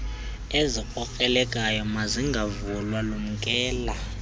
ezikrokrelekayo mazingavulwa lumkela